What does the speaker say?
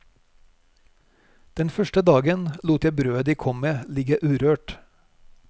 Den første dagen lot jeg brødet de kom med ligge urørt.